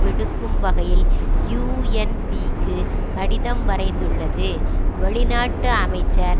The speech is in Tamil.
விடுக்கும் வகையில் யூஎன்பிக்கு கடிதம் வரைந்துள்ளது வெளிநாட்டு அமைச்சர்